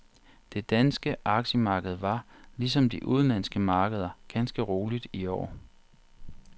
Det danske aktiemarked var, ligesom de udenlandske markeder, ganske roligt i går.